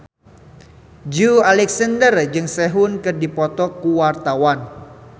Joey Alexander jeung Sehun keur dipoto ku wartawan